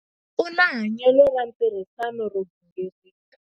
U na hanyelo ra ntirhisano ro gingirika.